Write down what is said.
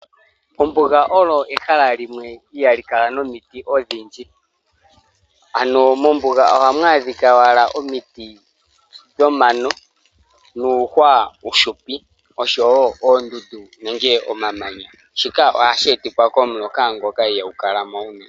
Ombuga oyo ehala limwe ihaali kala nomiti odhindji. Ano mombuga ohamu adhikwa wala omiti dhomano, nuuhwa uuhupi osho wo oondundu nenge omamanya. Shoka ohashi etithwa komuloka ngoka ihaagu kala mo unene.